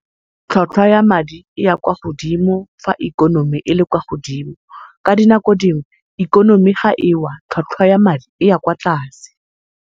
Tlhatlhwa ya madi e ya kwa godimo fa ikonomi ele kwa godimo, ka dinako dingwe ikonomi ga ewa tlhatlhwa ya madi e ya kwa tlase.